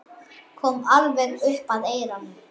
Kom alveg upp að eyranu.